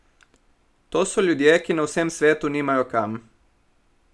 To so ljudje, ki na vsem svetu nimajo kam.